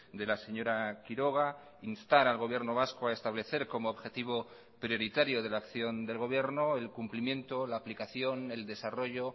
de la señora quiroga instar al gobierno vasco a establecer como objetivo prioritario de la acción del gobierno el cumplimiento la aplicación el desarrollo